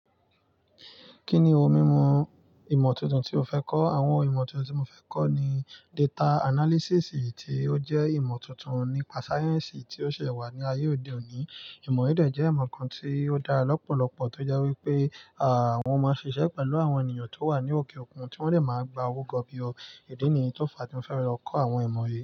Kí ni ohun mímu ìmọ̀ tuntun tí o fẹ́ kọ́? Àwọn ìmọ̀ tuntun tí mo fẹ́ kọ́ ni data analysis, tí ó jẹ́ ìmọ̀ tuntun nípa sáyẹ́ǹsì tí ó ṣẹ̀ wá ní ayé òde òní. Ìmọ̀ yìí dé jẹ́ ìmọ̀ kan tí ó dáa lọ́pọ̀lọpọ̀ tó jẹ́ wípé, à wọn máa ń ṣiṣẹ́ pẹ̀lú àwọn ènìyàn tó wà ní òkè òkun, tí wọ́n lè máa gba owó gọbi o. Idí nì yíí tó fa tí mo fẹ́ lọ kọ́ àwọn ìmọ̀ yìí.